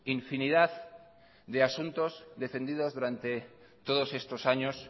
infinidad de asuntos defendidos durante todos estos años